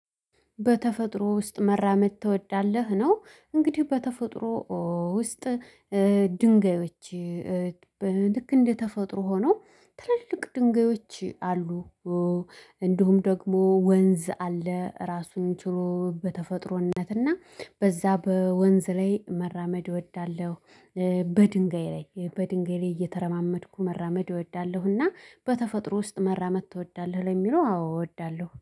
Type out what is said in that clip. በተፈጥሮ ውስጥ መራመድ ትወዳለህ ነው? እንግዲህ በተፈጥሮ ውስጥ ድንጋዮች ልክ እንደተፈጥሮ ሆኖ ትልልቅ ድንጋዮች አሉ። እንዲሁም ደግሞ ወንዝ አለ ራሱን ችሎ በተፈጥሮነትና በዛ በወንዝ ላይ መራመድ እወዳለሁ። በድንጋይ ላይ በድንጋይ ላይ እየተረማመድኩ መራመድ እወዳለሁና በተፈጥሮ ውስጥ መራመድ ትወዳለህ ለሚለው አዎ እወዳለሁ